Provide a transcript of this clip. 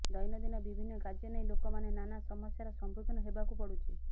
ଦୈନଦିନ ବିଭିନ୍ନ କାର୍ଯ୍ୟନେଇ ଲୋକମାନେ ନାନା ସମସ୍ୟାରେ ସମ୍ମୁଖିନ ହେବାକୁ ପଡ଼ୁଛି